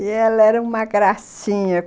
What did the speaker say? E ela era uma gracinha...